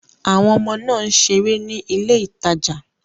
Àwọn ọmọ náà ń ṣeré ní ilé ìtajà.